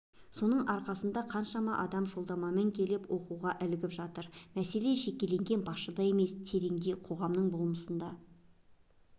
соның арқасында қаншама адам жолдамамен келіп оқуға ілігіп жатыр мәселе жекелеген басшыда емес тереңде қоғамның болмысында